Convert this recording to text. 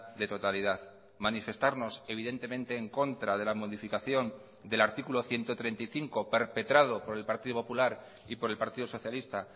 de totalidad manifestarnos evidentemente en contra de la modificación del artículo ciento treinta y cinco perpetrado por el partido popular y por el partido socialista